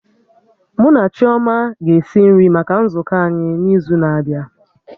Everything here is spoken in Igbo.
Mụ na Chioma ga-esi nri maka nzukọ anyị n'izu na-abịa